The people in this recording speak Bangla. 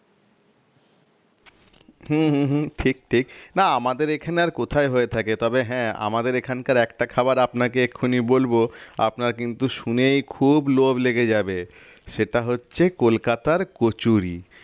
হম হম হম ঠিক ঠিক না আমাদের এখানে আর কোথায় হয়ে থাকে তবে হ্যাঁ আমাদের এখানকার একটা খাওয়ার আপনাকে এখুনি বলবো আপনার কিন্তু শুনেই খুব লোভ লেগে যাবে সেটা হচ্ছে কলকাতার কচুরি